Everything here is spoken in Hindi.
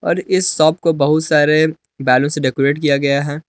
और इस शॉप को बहुत सारे बैलून से डेकोरेट किया गया है।